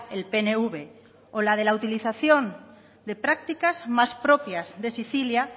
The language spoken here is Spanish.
el pnv o la de la utilización de prácticas más propias de sicilia